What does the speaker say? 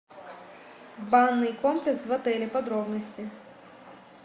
банный комплекс в отеле подробности